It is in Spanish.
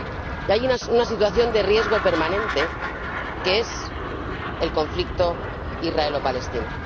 Y hay una situación de riesgo permanente, como es el conflicto israelo palestino.